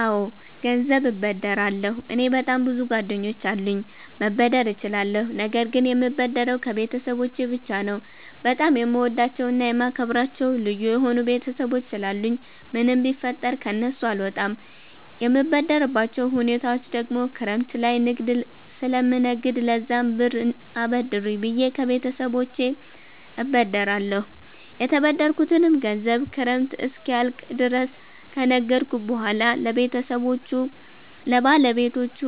አወ ገንዘብ እበደራለሁ። እኔ በጣም ብዙ ጓደኞች አሉኝ መበደር እችላለሁ ነገር ግን የምበደረው ከቤተሰቦቸ ብቻ ነው። በጣም የምወዳቸውና የማከብራቸው ልዩ የሆኑ ቤተሰቦች ስላሉኝ ምንም ቢፈጠር ከነሱ አልወጣም። የምበደርባቸው ሁኔታወች ደግሞ ክረምት ላይ ንግድ ስለምነግድ ለዛም ብር አበድሩኝ ብየ ከቤተሰቦቸ እበደራለሁ። የተበደርኩትንም ገንዘብ ክረምት እስኪያልቅ ድረስ ከነገድኩ በሁዋላ ለባለቤቶቹ